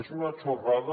és una chorrada